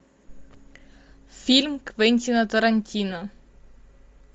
фильм квентина тарантино